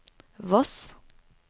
Voss